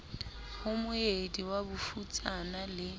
ho moedi wa bofutsana le